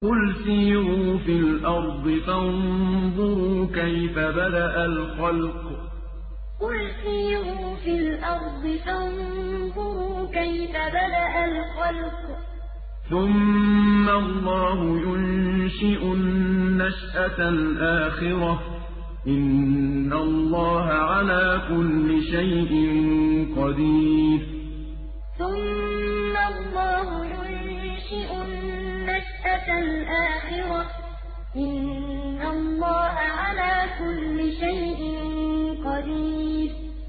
قُلْ سِيرُوا فِي الْأَرْضِ فَانظُرُوا كَيْفَ بَدَأَ الْخَلْقَ ۚ ثُمَّ اللَّهُ يُنشِئُ النَّشْأَةَ الْآخِرَةَ ۚ إِنَّ اللَّهَ عَلَىٰ كُلِّ شَيْءٍ قَدِيرٌ قُلْ سِيرُوا فِي الْأَرْضِ فَانظُرُوا كَيْفَ بَدَأَ الْخَلْقَ ۚ ثُمَّ اللَّهُ يُنشِئُ النَّشْأَةَ الْآخِرَةَ ۚ إِنَّ اللَّهَ عَلَىٰ كُلِّ شَيْءٍ قَدِيرٌ